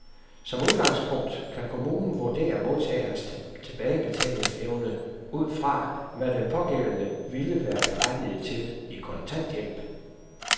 Som udgangspunkt kan kommunen vurdere modtagerens tilbagebetalingsevne ud fra, hvad den pågældende ville være berettiget til i kontanthjælp.